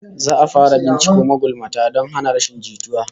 Za'a fara binciko magulmata don hana rashin jituwa